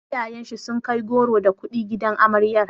Iyayen shi sun kai goro da kuɗi gidan amaryar.